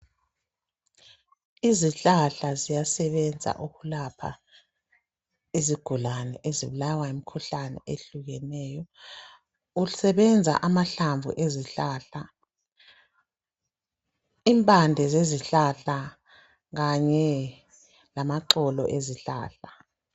Izihlahla ziyasebenza ukulapha izigulane ezibulawa yimkhuhlane ehlukeneyo. Kusebenza amahlamvu ezihlahla, impande zezihlahla kanye lamaxolo ezihlahla.